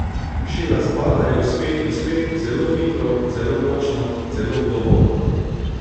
Šila zbadajo spet in spet, zelo hitro, zelo močno, zelo globoko.